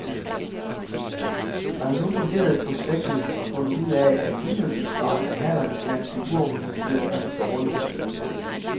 Man har nu vurderet projektet og fundet ud af, at udnyttelsesgraden af hallerne blandt de uorganiserede er for dårlig.